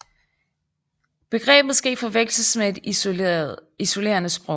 Begrebet skal ikke forveksles med et isolerende sprog